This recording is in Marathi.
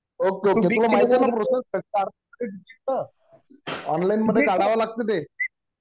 ओके ओके ओके तुला माहितीये ना प्रोसेस काय ऑनलाइन मधे काढावं लागतं ते